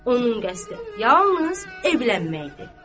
Onun qəsdi yalnız evlənməkdir.